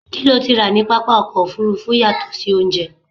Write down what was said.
kí lo ti rà ní pápá ọkọ̀ òfurufú yàtọ̀ sí oúnjẹ?